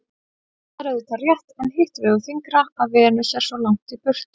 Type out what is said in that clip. Það er auðvitað rétt en hitt vegur þyngra að Venus er svo langt í burtu.